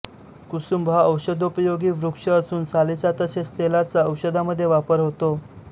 कुसुंब हा औषधोपयोगी वृक्ष असून सालीचा तसेच तेलाचा औषधामध्ये वापर होतो